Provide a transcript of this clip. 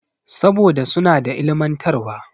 Saboda suna da ilimantarwa.